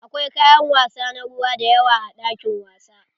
Akwai kayan wasa na ruwa dayawa a ɗakin wasa.